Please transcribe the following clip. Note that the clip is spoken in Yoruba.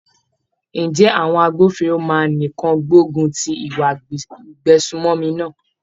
Ǹjẹ́ àwọn agbófinró máa nìkan gbógun ti ìwà ìgbésùmòmí náà?